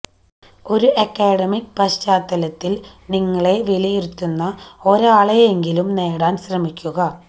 ഒരു അക്കാദമിക് പശ്ചാത്തലത്തിൽ നിങ്ങളെ വിലയിരുത്തുന്ന ഒരാളെങ്കിലും നേടാൻ ശ്രമിക്കുക